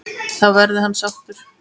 Þá verði hann sáttur.